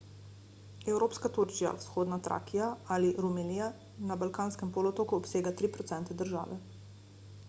evropska turčija vzhodna trakija ali rumelija na balkanskem polotoku obsega 3 % države